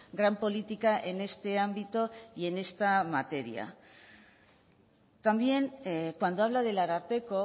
gran política en este ámbito y en esta materia también cuando habla del ararteko